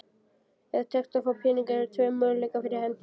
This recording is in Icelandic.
Ef tekst að fá peninga eru tveir möguleikar fyrir hendi.